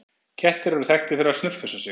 Kettir eru þekktir fyrir að snurfusa sig.